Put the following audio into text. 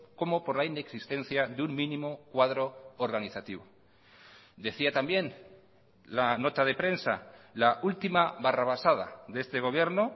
como por la inexistencia de un mínimo cuadro organizativo decía también la nota de prensa la última barrabasada de este gobierno